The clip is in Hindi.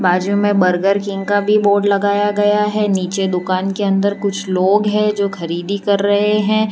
बाजू में बर्गर किंग का भी बोर्ड लगाया गया है नीचे दुकान के अंदर कुछ लोग हैं जो खरीदी कर रहे हैं।